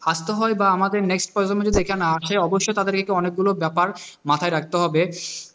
আস্তে হয় বা আমাদের অবশ্যই তাদেরকে অনেকগুলো ব্যাপার মাথায় রাখতে হবে,